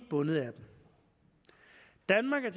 bundet af dem danmark er